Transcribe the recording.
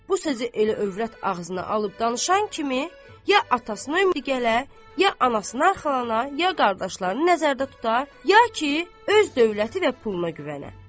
Bu sözü elə övrət ağzına alıb danışan kimi ya atasına ümid gələ, ya anasına arxalana, ya qardaşlarını nəzərdə tuta, ya ki, öz dövləti və puluna güvənə.